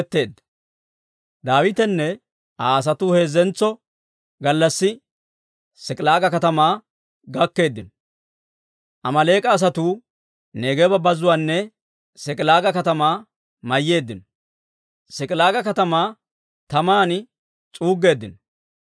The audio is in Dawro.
Daawitenne Aa asatuu heezzentso gallassi S'ik'ilaaga katamaa gakkeeddino. Amaaleek'a asatuu Neegeeba bazzuwaanne S'ik'ilaaga katamaa mayyeeddino; S'ik'ilaaga katamaa taman s'uuggeeddino.